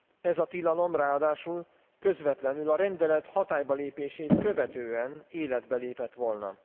Ez a tilalom ráadásul közvetlenül a rendelet hatálybalépését követően életbe lépett volna.